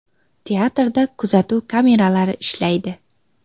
Teatrda kuzatuv kameralari ishlaydi.